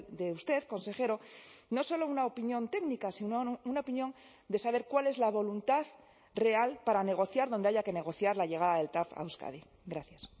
de usted consejero no solo una opinión técnica sino una opinión de saber cuál es la voluntad real para negociar donde haya que negociar la llegada del tav a euskadi gracias